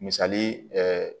Misali